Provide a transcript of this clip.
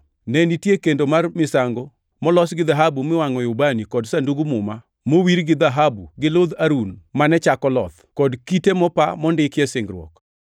ne nitie kendo mar misango molos gi dhahabu miwangʼoe ubani kod Sandug Muma mowir gi dhahabu gi ludh Harun mane chako loth, kod kite mopa mondikie singruok.